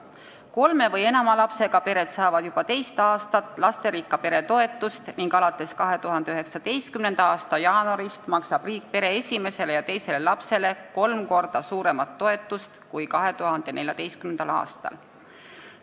Kolme või enama lapsega pered saavad juba teist aastat lasterikka pere toetust ning alates 2019. aasta jaanuarist maksab riik pere esimesele ja teisele lapsele kolm korda suuremat toetust kui 2014. aastal.